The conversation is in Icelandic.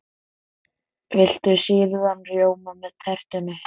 Viltu sýrðan rjóma með tertunni?